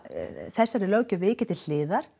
þessari löggjöf vikið til hliðar